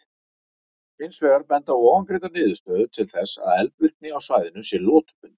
Hins vegar benda ofangreindar niðurstöður til þess að eldvirkni á svæðinu sé lotubundin.